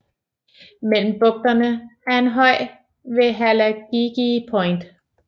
Mellem bugterne er en høj ved Halagigie Point